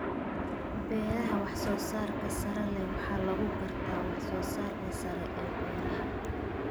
Beeraha wax-soo-saarka sare leh waxaa lagu gartaa wax-soo-saarka sare ee beeraha.